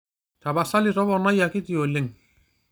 tapasali toponai akiti oleng'